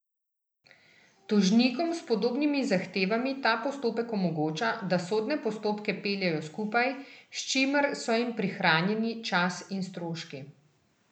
Tožnikom s podobnimi zahtevami ta postopek omogoča, da sodne postopke peljejo skupaj, s čimer so jim prihranjeni čas in stroški.